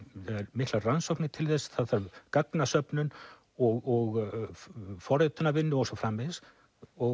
miklar rannsóknir til þess og gagnasöfnun og forritunarvinnur og svo framvegis og